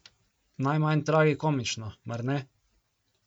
Najmanj tragikomično, mar ne?